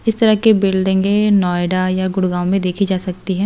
इस तरह के बिल्डिंगे नॉएडा या गुड़गांव में देखी जा सकती है।